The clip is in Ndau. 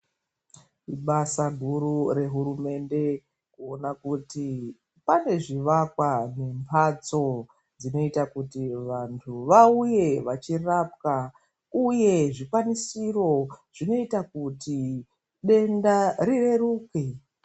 Ibasa guru rehurumende kuona kuti pane zvivakwa nembatso dzinoita kuti vantu vauye vachirapwa uye zvikwanisiro zvinoita kuti denda rireruke.